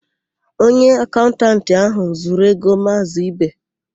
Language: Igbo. Onye akaụntantị áhụ̀ zuru égo Maazị Ibe.